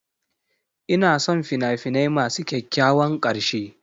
Ina son fina-finai masu kyakkyawan ƙarshe.